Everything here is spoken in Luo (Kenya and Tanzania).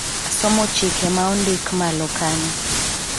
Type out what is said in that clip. asomo chike ma ondik malo kanyo